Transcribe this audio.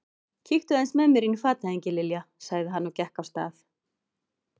Kíktu aðeins með mér inn í fatahengi, Lilja sagði hann og gekk af stað.